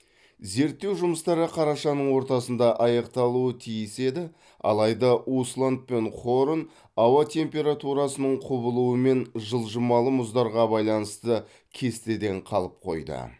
зерттеу жұмыстары қарашаның ортасында аяқталуы тиіс еді алайда усланд пен хорн ауа температурасының құбылуы мен жылжымалы мұздарға байланысты кестеден қалып қойды